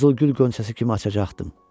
Qızılgül qönçəsi kimi açacaqdım.